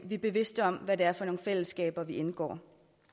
vi er bevidste om hvad det er for nogle fællesskaber vi indgår